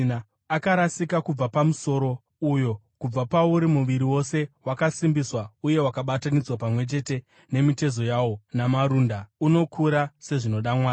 Akarasika kubva paMusoro, uyo kubva pauri muviri wose, wakasimbiswa uye wakabatanidzwa pamwe chete nemitezo yawo namarunda, unokura sezvinoda Mwari.